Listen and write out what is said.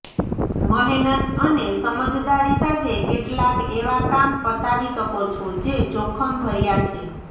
મહેનત અને સમજદારી સાથે કેટલાક એવા કામ પતાવી શકો છો જે જોખમભર્યા છે